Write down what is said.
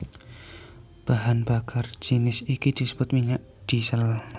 Bahan bakar jinis iki disebut minyak diesel